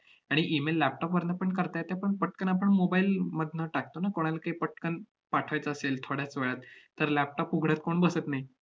आणि email laptop वरनं पण करता येतं. पण पटकन आपण mobile मधनं टाकतो ना, कोणाला काही पटकन पाठवायचं असेल थोड्याच वेळात तर laptop उघडत कोण बसत नाही.